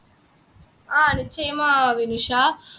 ஆஹ் நிச்சயமா வினுஷா